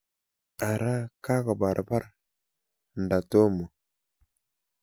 Ara kakobarbar nda tomo?